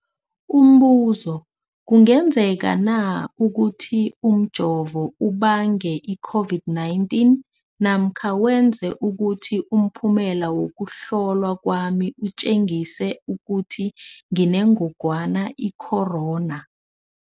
Umbuzo, kungenzekana ukuthi umjovo ubange i-COVID-19 namkha wenze ukuthi umphumela wokuhlolwa kwami utjengise ukuthi nginengogwana i-corona?